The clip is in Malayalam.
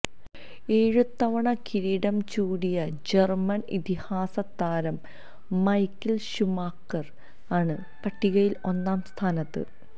ഏഴ് തവണ കിരീടം ചൂടിയ ജര്മന് ഇതിഹാസ താരം മൈക്കിള് ഷുമാക്കര് ആണ് പട്ടികയില് ഒന്നാം സ്ഥാനത്ത്